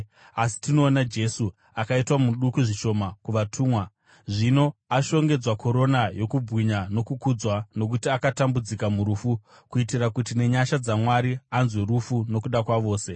Asi tinoona Jesu, akaitwa muduku zvishoma kuvatumwa, zvino ashongedzwa korona yokubwinya nokukudzwa nokuti akatambudzika murufu, kuitira kuti nenyasha dzaMwari anzwe rufu nokuda kwavose.